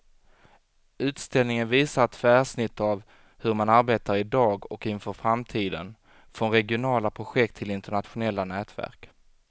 Utställningen visar ett tvärsnitt av hur man arbetar i dag och inför framtiden, från regionala projekt till internationella nätverk.